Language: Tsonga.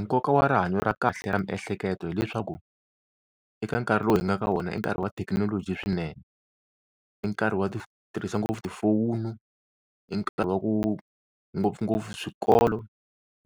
nkoka wa rihanyo ra kahle ra miehleketo hileswaku eka nkarhi lowu hi nga ka wona i nkarhi wa thekinoloji swinene, i nkarhi wa tirhisa ngopfu tifowunu, i nkarhi wa ku ngopfungopfu swikolo,